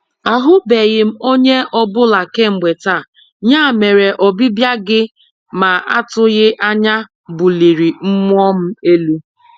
Ahụbeghị onye ọ bụla kemgbe taa, ya mere ọbịbịa gị ma atụghị anya buliri mmụọ m elu.